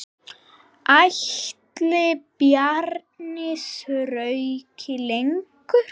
Ætli Bjarni þrauki lengur?